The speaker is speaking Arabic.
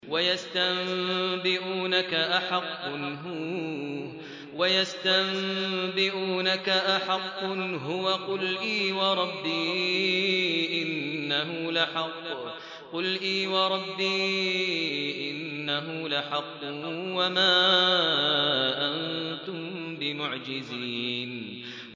۞ وَيَسْتَنبِئُونَكَ أَحَقٌّ هُوَ ۖ قُلْ إِي وَرَبِّي إِنَّهُ لَحَقٌّ ۖ وَمَا أَنتُم بِمُعْجِزِينَ